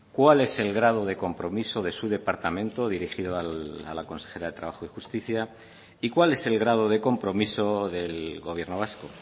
cuál es el grado de compromiso de su departamento dirigido a la consejera de trabajo y justicia y cuál es el grado de compromiso del gobierno vasco